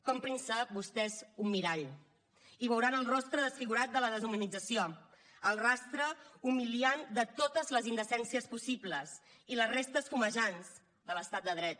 comprin se vostès un mirall hi veuran el rostre desfigurat de la deshumanització el rastre humiliant de totes les indecències possibles i les restes fumejants de l’estat de dret